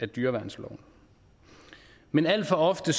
dyreværnsloven men alt for ofte